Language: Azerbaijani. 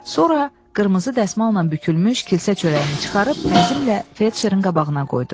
Sonra qırmızı dəsmalla bükülmüş kilsə çörəyini çıxarıb təzimmlə felçerin qabağına qoydu.